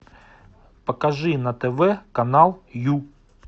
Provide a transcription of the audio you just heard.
покажи на тв канал ю